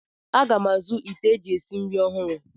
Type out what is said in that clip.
Aga m azụ ite eji esi nri ọhụrụ.